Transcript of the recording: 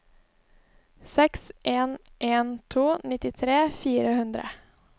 seks en en to nittitre fire hundre